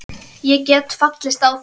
Ég gat fallist á það.